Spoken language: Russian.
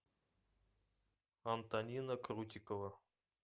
антонина крутикова